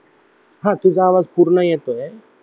हा तुझा आवाज पूर्ण येतोय